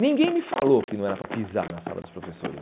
Ninguém me falou que não era para pisar na sala dos professores.